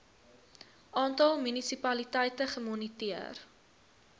aantal munisipaliteite gemoniteer